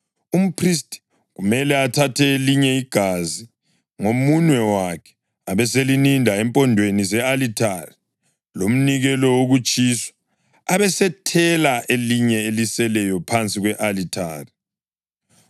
Umphristi kumele athathe elinye igazi ngomunwe wakhe, abeselininda empondweni ze-alithare lomnikelo wokutshiswa, abesethela elinye eliseleyo phansi kwe-alithari.